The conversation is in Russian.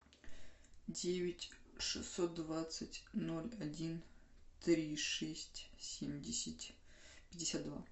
девять шестьсот двадцать ноль один три шесть семьдесят пятьдесят два